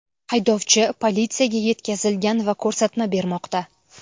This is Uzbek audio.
Haydovchi politsiyaga yetkazilgan va ko‘rsatma bermoqda.